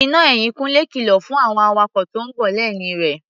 Iná ẹ̀yìn Kúnlé kìlọ̀ fún àwọn awakọ̀ tó ń bọ̀ lẹ́yìn rẹ̀.